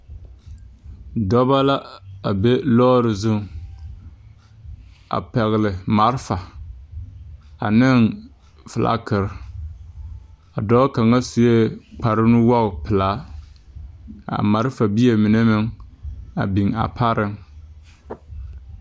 Dɔbɔ la a be lɔɔre zuŋ, a pɛgele malfa ane felakere. A dɔɔ kaŋa sue kparenuwogi pelaa. A malfabie mine meŋ biŋ a pareŋ.